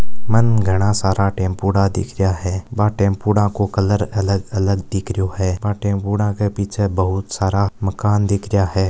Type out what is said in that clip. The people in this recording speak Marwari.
मांन घना सारा टेंपोड दिख रिहा है वा टेमपुड़ को कलर अलग-अलग दिख रिहो है वह टेमपुड़ के पीछे बहुत सारा मकान दिख रहा है।